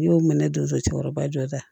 N'i y'o minɛ don cɛkɔrɔba jɔ la